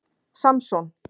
Samson